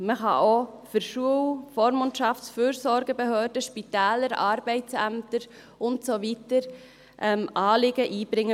Man kann bei dieser Ombudsstelle auch für Schul-, Vormundschafts-, Fürsorgebehörden, Spitäler, Arbeitsämter und so weiter Anliegen einbringen.